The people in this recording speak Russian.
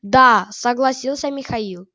да согласился михаил